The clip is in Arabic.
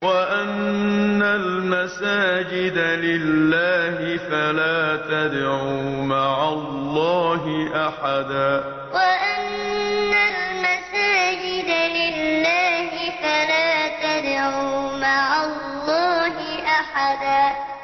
وَأَنَّ الْمَسَاجِدَ لِلَّهِ فَلَا تَدْعُوا مَعَ اللَّهِ أَحَدًا وَأَنَّ الْمَسَاجِدَ لِلَّهِ فَلَا تَدْعُوا مَعَ اللَّهِ أَحَدًا